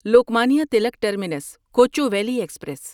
Lokmanya Tilak terminus Kochuveli express